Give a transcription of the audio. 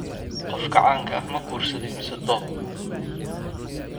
Qofka caanka ah ma guursaday mise doob?